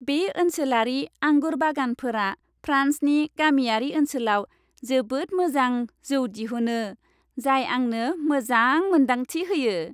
बे ओनसोलारि आंगुर बागानफोरा फ्रान्सनि गामियारि ओनसोलाव जोबोद मोजां जौ दिहुनो, जाय आंनो मोजां मोन्दांथि होयो।